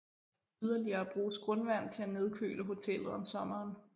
Yderligere bruges grundvand til at nedkøle hotellet om sommeren